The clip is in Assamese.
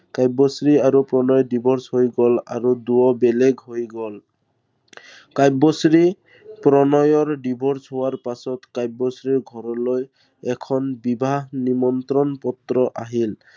কাব্যশ্ৰী আৰু প্ৰণয়ৰ divorce হৈ গল আৰু দুয়ো বেলেগ হৈ গল। কাব্যশ্ৰী, প্ৰণয়ৰ divorce হোৱাৰ পিছত কাব্যশ্ৰীৰ ঘৰলৈ এখন বিবাহ নিমন্ত্ৰণ পত্ৰ আহিল।